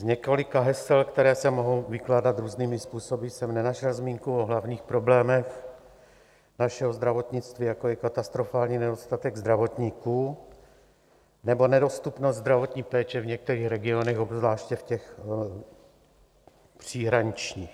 Z několika hesel, která se mohou vykládat různými způsoby, jsem nenašel zmínku o hlavních problémech našeho zdravotnictví, jako je katastrofální nedostatek zdravotníků nebo nedostupnost zdravotní péče v některých regionech, obzvláště v těch příhraničních.